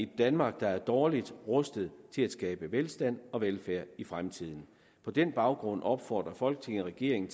danmark der er dårligt rustet til at skabe velstand og velfærd i fremtiden på den baggrund opfordrer folketinget regeringen